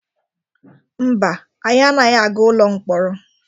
Mba, anyị anaghị aga ụlọ mkpọrọ.